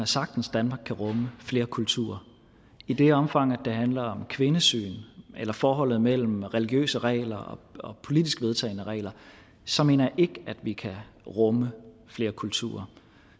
sagtens danmark kan rumme flere kulturer i det omfang det handler om kvindesyn eller forholdet mellem religiøse regler og politisk vedtagne regler så mener jeg ikke at vi kan rumme flere kulturer